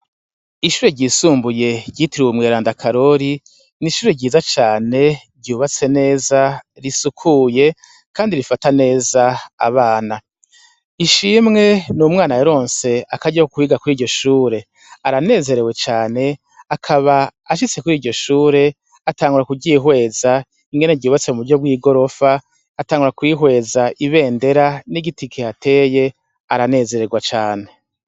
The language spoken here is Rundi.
Ishure ryisumbuye ryitiruwe umwera ndakarori n'ishure ryiza cane ryubatse neza risukuye, kandi rifata neza abana ishimwe ni umwana eronse akarya kukwiga kuri iryo shure aranezerewe cane akaba ashitse kuri iryo shure atangura kugyihwe eza ingene ryubatse mu buryo bw'i gorofa atangura kwihweza ibendera n'igiti kihateye aranezererwa cane.